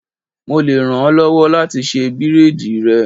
Mo le ràn ọ́ lọ́wọ́ láti ṣe bírádìì rẹ.